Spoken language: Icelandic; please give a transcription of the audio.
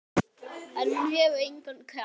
En hún hefur engan kraft.